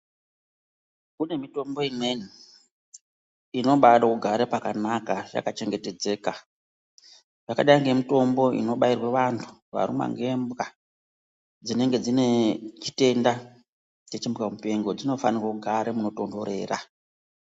kune mitombo imweni inobade kugara pakanaka yakachengetedzeka. Yakadai nemitombo inobairwe antu varumwa ngembwa dzinenge dzine chitenda dzechimbwa mupengo dzinofanire kugare panotonhorera.